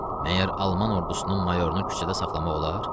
Məyər alman ordusunun mayorunu küçədə saxlamaq olar?